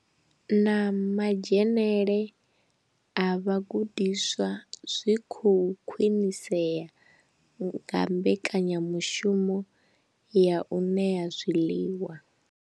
Na madzhenele a vhagudiswa zwi khou khwinisea nga mbekanya mushumo ya u ṋea zwiḽiwa.